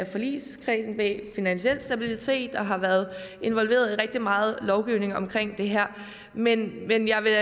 forligskredsen bag finansiel stabilitet og har været involveret i rigtig meget lovgivning om det her men men jeg vil